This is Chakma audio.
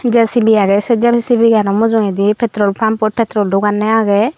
jcb aagay say jcb gano mujugaydi petrol pump pot petrol duganay aagay.